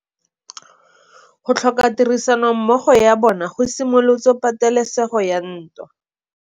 Go tlhoka tirsanommogo ga bone go simolotse patêlêsêgô ya ntwa.